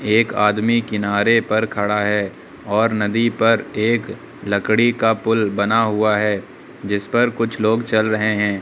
एक आदमी किनारे पर खड़ा है और नदी पर एक लकड़ी का पुल बना हुआ है जिस पर कुछ लोग चल रहे हैं।